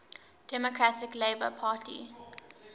democratic labour party